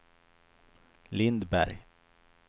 Lindberg